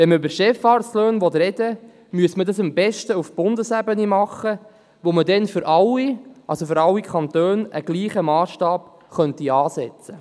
Will man über Chefarztlöhne sprechen, müsste man das am besten auf Bundesebene tun, auf der man für alle Kantone denselben Massstab ansetzen könnte.